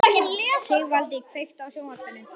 Sigvaldi, kveiktu á sjónvarpinu.